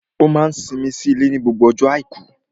Ó máa n simi sí ilé ní gbogbo ọjọ́ àìkú